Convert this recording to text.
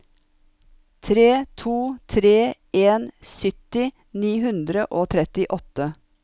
tre to tre en sytti ni hundre og trettiåtte